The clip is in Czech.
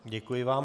Děkuji vám.